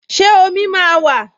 Ṣé omi máa wà?